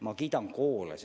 Ma kiidan koole.